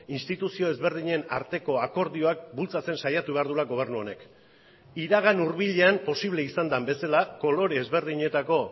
instituzio ezberdinen arteko akordioak bultzatzen saiatu behar duela gobernu honek iragan hurbilean posible izan den bezala kolore ezberdinetako